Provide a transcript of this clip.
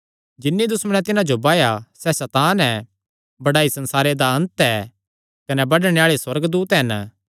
जिन्नी दुश्मणे तिन्हां जो बाया सैह़ सैतान ऐ बड्डाई संसारे दा अन्त ऐ कने बडणे आल़े सुअर्गदूत हन